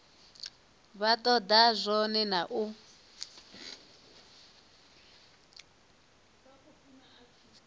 vha toda zwone na u